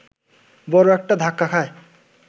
বড় একটা ধাক্কা খায়